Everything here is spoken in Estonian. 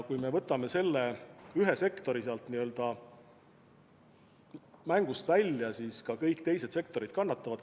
Kui me võtame selle ühe sektori mängust välja, siis ka kõik teised sektorid kannatavad.